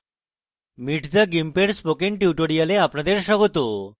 meet the gimp এর spoken tutorial আপনাদের স্বাগত